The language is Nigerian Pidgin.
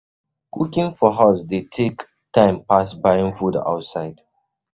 Cooking for house dey take um time pass buying food outside